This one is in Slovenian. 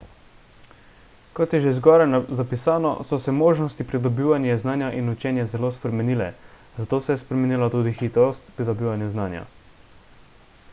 kot je že zgoraj zapisano so se možnosti pridobivanja znanja in učenja zelo spremenile zato se je spremenila tudi hitrost pridobivanja znanja